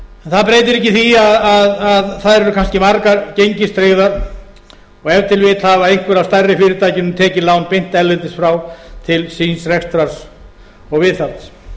en breytir ekki því að þær eru kannski margir gengistryggðar og ef til vill hafa einhver af stærri fyrirtækjunum tekið lán beint erlendis frá til síns rekstrar og viðhalds